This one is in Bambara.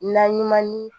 Naɲuman ni